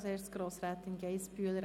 Das Wort hat Grossrätin Geissbühler.